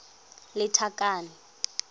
lethakane